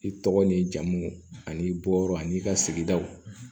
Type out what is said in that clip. I tɔgɔ ni jamu ani i bɔyɔrɔ ani i ka sigidaw